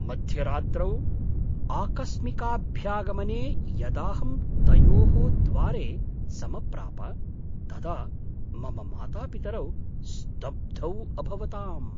मध्यरात्रौ आकस्मिकाभ्यागमने यदाहं तयोः द्वारे समप्राप तदा मम मातापितरौ स्तब्धौ अभवताम्।